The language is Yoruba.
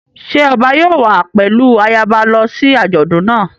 Ṣé ọba yóò wá pẹ̀lú ayaba lọ sí àjọ̀dún náà?